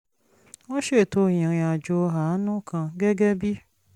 wọ́n ṣètò ìrìn àjò àánú kan gẹ́gẹ́ bí